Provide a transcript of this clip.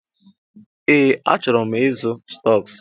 Ee, achọrọ m ịzụ stọks.